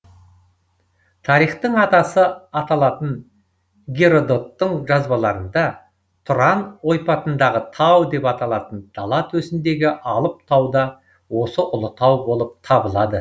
тарихтың атасы аталатын геродоттың жазбаларында тұран ойпатындағы тау деп аталатын дала төсіндегі алып тау да осы ұлытау болып табылады